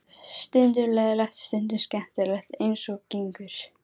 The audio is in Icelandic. Stundum leiðinlegt, stundum skemmtilegt eins og gengur.